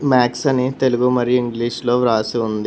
Max అని తెలుగు మరియు English లో వ్రాసి ఉంది.